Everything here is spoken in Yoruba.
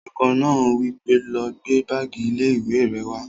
Olùkọ́ náà wí pé, "lọ gbé báàgì ilé-ìwé rẹ wá!"